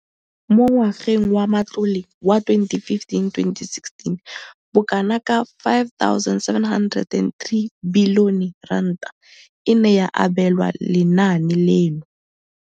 Mo ngwageng wa matlole wa 2015,16, bokanaka R5 703 bilione e ne ya abelwa lenaane leno.